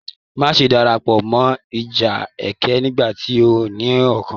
Má ṣe darapọ̀ mọ́ ìjà ẹkẹ nigbati óò ní okùn!